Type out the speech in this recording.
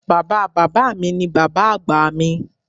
Baba baba mi ni baba agba mi.